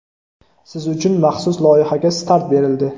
siz uchun maxsus loyihaga start berildi!.